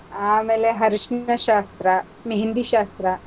ಆಮೇಲೆ ಅರಿಶಿನ ಶಾಸ್ತ್ರ, मेहँदी ಶಾಸ್ತ್ರ